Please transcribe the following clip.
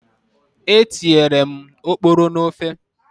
Etinyere m oporo n'ofe.